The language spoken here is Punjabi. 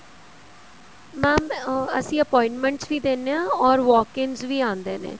mam ਅਸੀਂ appointments ਵੀ ਦਿੰਨੇ ਹਾ or walk-ins ਵੀ ਆਂਦੇ ਨੇ